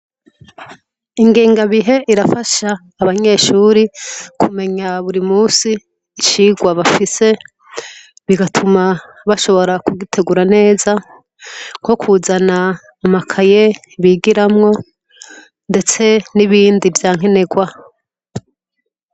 Ingenga bihe irafasha abanyeshuri kumenya buri musi isirwa bafise bigatuma bashobora kugitegura neza ko kuzana amakaye bigiramwo, ndetse n'ibindi vyankenerwa.